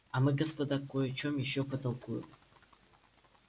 а мы господа кой о чем ещё потолкуем